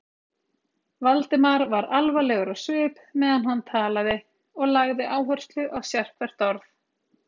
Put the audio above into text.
Valdimar var alvarlegur á svip, meðan hann talaði, og lagði áherslu á sérhvert orð.